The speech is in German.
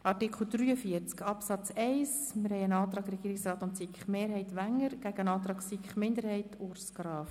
Zu Artikel 43 Absatz 1 liegt ein Antrag Regierungsrat/SiK-Mehrheit gegen einen Antrag SiK-Minderheit vor.